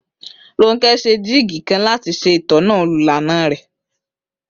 Rónkẹ́ ṣe jíìgì kan láti ṣe ìtọ́sọ́nà olùlàànà rẹ